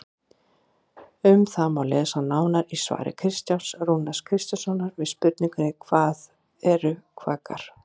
Um það má lesa nánar í svari Kristjáns Rúnars Kristjánssonar við spurningunni Hvað eru kvarkar?